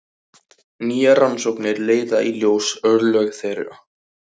Nýjar rannsóknir leiða í ljós örlög þeirra.